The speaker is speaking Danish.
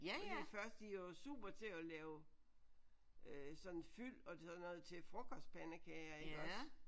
Fordi først de er jo super til at lave øh sådan fyld og sådan noget til frokostpandekager iggås